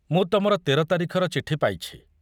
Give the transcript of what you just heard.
ମୁଁ ତମର ତେର ତାରିଖର ଚିଠି ପାଇଛି।